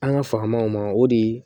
An ka fa maw ma o de